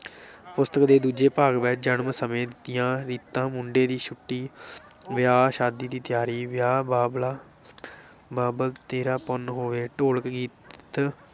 ਪੁਸਤਕ ਦੇ ਦੂਜੇ ਭਾਗ ਵਿਚ ਜਨਮ ਸਮੇਂ ਦੀਆਂ ਰੀਤਾਂ, ਮੁੰਡੇ ਦੀ ਛੁੱਟੀ ਵਿਆਹ ਸ਼ਾਦੀ ਦੀ ਤਿਆਰੀ, ਵਿਆਹ, ਬਾਬਲਾ ਬਾਬਲ ਤੇਰਾ ਪੁੰਨ ਹੋਵੇ, ਢੋਲਕ ਗੀਤ,